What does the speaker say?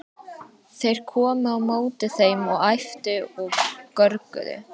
Þeir komu á móti þeim og æptu og görguðu.